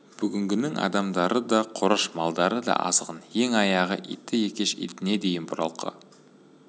бүгінгінің адамдары да қораш малдары да азғын ең аяғы иті екеш итіне дейін бұралқы